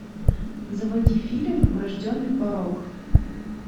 заводи фильм врожденный порок